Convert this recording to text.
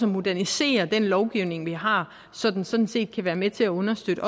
modernisere den lovgivning vi har så den sådan set kan være med til at understøtte